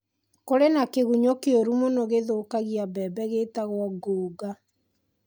Kũrĩ na kĩgunyũ kĩũru mũno gĩthũkagia mbembe gĩtagwo ngũũnga.